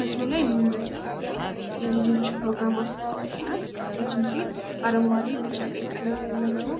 ምስሉ ላይ የምንመለከታት ሴት የልጆች ፕሮግራም አስተዋዋቂ ናት ይች ሴት አረንጓዴ፣ ቢጫ፣ ቀይ ቀለም ያላቸው